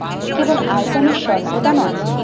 কেবল আয়তনের স্বল্পতা নয়।